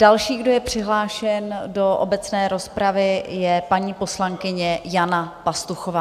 Další, kdo je přihlášen do obecné rozpravy, je paní poslankyně Jana Pastuchová.